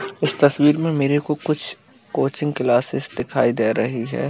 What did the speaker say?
इस तस्वीर में मेरे को कुछ कोचिंग क्लासेस दिखाई दे रही है |